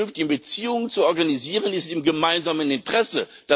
Die vernünftigen Beziehungen zu organisieren, ist im gemeinsamen Interesse.